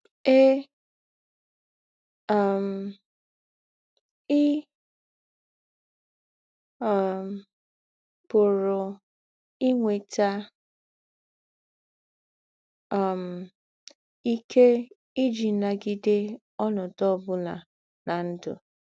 Èe, um ì um pụ̀rù́ ínwètà um íké ìjì nagídè ònòdū̄ ọ̀bụ̀nà ná ndụ́.